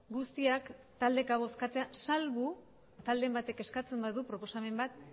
guztiak taldeka bozkatzera salbu talderen batek eskatzen badu proposamen bat